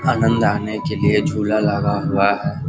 आनंद आने के लिए झूला लगा हुआ है।